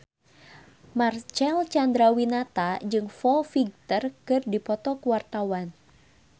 Marcel Chandrawinata jeung Foo Fighter keur dipoto ku wartawan